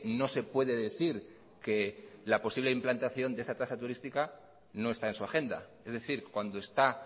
no se puede decir que la posible implantación de esa tasa turística no está en su agenda es decir cuando está